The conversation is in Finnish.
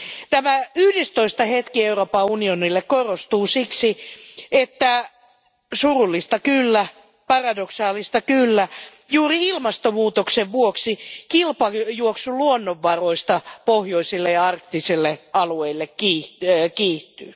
Tämä yhdestoista hetki Euroopan unionille korostuu siksi, että surullista kyllä, paradoksaalista kyllä, juuri ilmastomuutoksen vuoksi kilpajuoksu luonnonvaroista pohjoisille ja arktisille alueille kiihtyy.